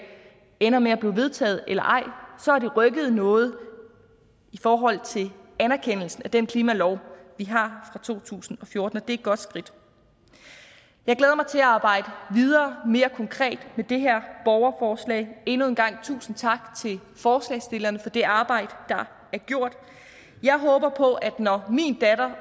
ender med at blive vedtaget eller ej så har det rykket noget i forhold til anerkendelsen af den klimalov vi har fra to tusind og fjorten og er et godt skridt jeg glæder mig til at arbejde videre og mere konkret med det her borgerforslag endnu en gang tusind tak til forslagsstillerne for det arbejde der er gjort jeg håber på at når min datter